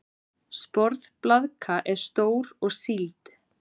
Sporðblaðka er stór og sýld.